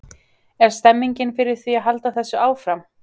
Er stemning fyrir því að halda þessu áfram?